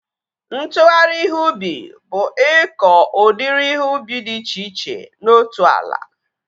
Ntụgharị ihe ubi bụ ịkọ udiri ihe ubi dị iche iche na otu ala